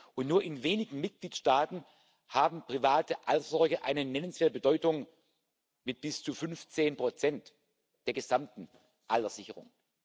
Und nur in wenigen Mitgliedstaaten hat private Altersvorsorge eine nennenswerte Bedeutung mit bis zu fünfzehn Prozent der gesamten Alterssicherung.